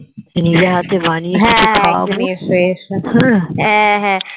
নিজে হাতে বানিয়ে তোকে খাওয়াবো হম